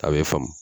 A bɛ faamu